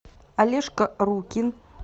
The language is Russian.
олежка рукин